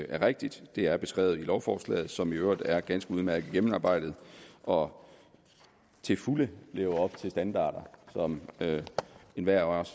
er rigtigt det er beskrevet i lovforslaget som i øvrigt er ganske udmærket gennemarbejdet og til fulde lever op til standarder som enhver af os